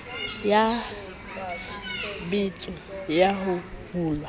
ya tshbetso ya ho hulwa